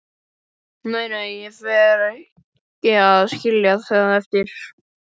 Nei, nei, ég fer ekki að skilja það eftir.